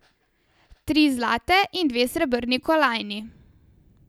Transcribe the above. Tri zlate in dve srebrni kolajni.